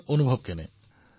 আপোনাৰ অনুভৱ কেনে